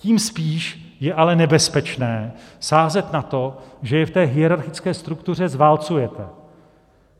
Tím spíš je ale nebezpečné sázet na to, že je v té hierarchické struktuře zválcujete.